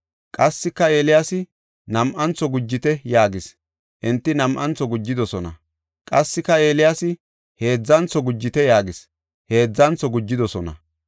Qassika, Eeliyaasi, “Nam7antho gujite” yaagis; enti nam7antho gujidosona. Qassika, Eeliyaasi, “Heedzantho gujite” yaagis; heedzantho gujidosona.